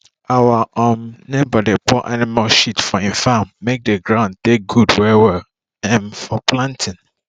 our um neighbour dey pour animal shit for im farm make d ground take good well well um for planting